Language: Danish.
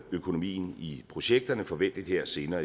økonomien i projekterne forventelig her senere